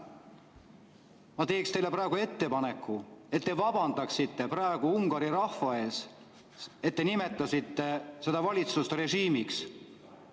Ma teen teile ettepaneku, et te vabandaksite praegu Ungari rahva ees selle eest, et te nimetasite seda valitsust režiimiks.